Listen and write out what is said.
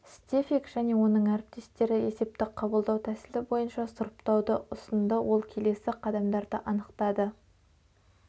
стефик және оның әріптестері есепті қабылдау тәсілі бойынша сұрыптауды ұсынды ол келесі қадамдарды анықтады